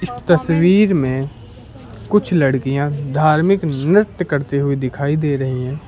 तस्वीर में कुछ लड़कियां धार्मिक नृत्य करती हुई दिखाई दे रही है।